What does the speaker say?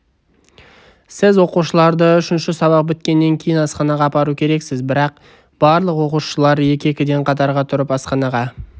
сіз оқушыларды үшінші сабақ біткеннен кейін асханаға апару керексіз барлық оқушылар екі-екіден қатарға тұрып асханаға